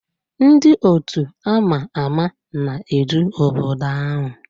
Ndị otu a ma ama na-edu obodo ahụ